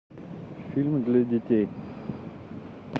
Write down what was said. фильмы для детей